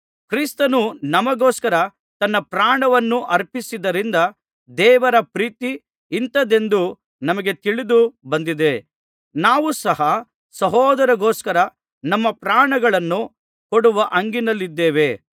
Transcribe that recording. ಕ್ರಿಸ್ತನು ನಮಗೋಸ್ಕರ ತನ್ನ ಪ್ರಾಣವನ್ನು ಅರ್ಪಿಸಿದ್ದರಿಂದ ದೇವರ ಪ್ರೀತಿ ಇಂಥದ್ದೆಂದು ನಮಗೆ ತಿಳಿದು ಬಂದಿದೆ ನಾವು ಸಹ ಸಹೋದರರಿಗೋಸ್ಕರ ನಮ್ಮ ಪ್ರಾಣಗಳನ್ನು ಕೊಡುವ ಹಂಗಿನಲ್ಲಿದ್ದೇವೆ